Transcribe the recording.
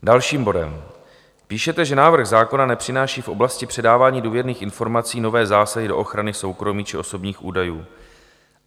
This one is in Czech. Další bod - píšete, že návrh zákona nepřináší v oblasti předávání důvěrných informací nové zásahy do ochrany soukromí či osobních údajů.